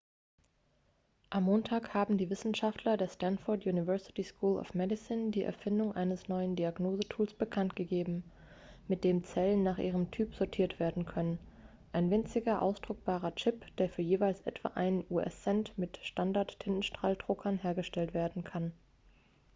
am montag haben die wisenschaftler der stanford university school of medicine die erfindung eines neuen diagnosetools bekanntgegeben mit dem zellen nach ihrem typ sortiert werden können ein winziger ausdruckbarer chip der für jeweils etwa einen us-cent mit standard-tintenstrahldruckern hergestellt werden kann